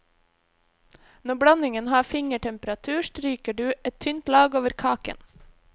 Når blandingen har fingertemperatur, stryker du et tynt lag over kaken.